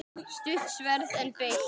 Stutt sverð, en beitt.